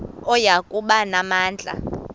oya kuba namandla